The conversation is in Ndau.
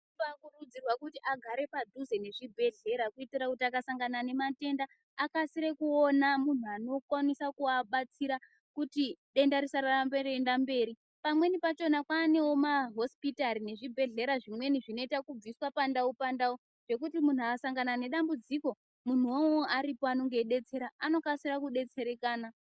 Kumbakurudzirwa kuti agare padhuze nezvibhedhlera kuitire kuti kana akasangana nematenda akasire kuona munhu anokwanisa kuabatsira kuti denda risarambe reienda mberi. Pamweni pachona kwanewo mahosipitari nezvibhedhlera zvimweni zvinoita kubviswa pandau pandau zvekuti munhu akasangana nedambudziko munhu uwowo aripo anenge eidetsera anokasira kudetserekana.